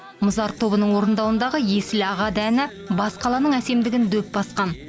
мұзарт тобының орындауындағы есіл ағады әні бас қаланың әсемдігін дөп басқан